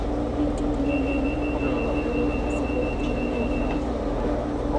Pik che tinye mioni komoiporu kot mising kole tinye mioni en oraniton.